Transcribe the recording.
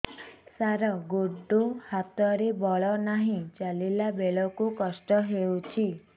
ସାର ଗୋଡୋ ହାତରେ ବଳ ନାହିଁ ଚାଲିଲା ବେଳକୁ କଷ୍ଟ ହେଉଛି